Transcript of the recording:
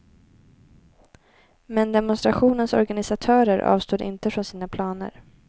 Men demonstrationens organisatörer avstod inte från sina planer.